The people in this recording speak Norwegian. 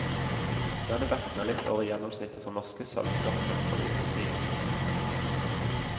Denne vekten er litt over gjennomsnittet for norske sølvskattfunn fra vikingtiden.